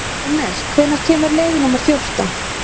Rúnel, hvenær kemur leið númer fjórtán?